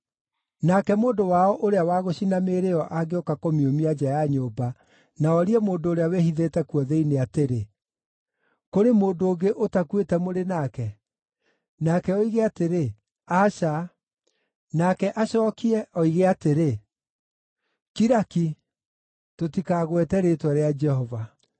Nake mũndũ wao ũrĩa wa gũcina mĩĩrĩ ĩyo angĩũka kũmiumia nja ya nyũmba na orie mũndũ ũrĩa wĩhithĩte kuo thĩinĩ atĩrĩ, “Kũrĩ mũndũ ũngĩ ũtakuĩte mũrĩ nake?” Nake oige atĩrĩ, “Aca.” Nake acookie oige atĩrĩ, “Kira ki! Tũtikagwete rĩĩtwa rĩa Jehova.”